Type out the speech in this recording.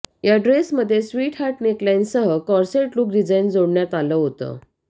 या ड्रेसमध्ये स्वीटहार्ट नेकलाइनसह कोर्सेट लुक डिझाइन जोडण्यात आलं होतं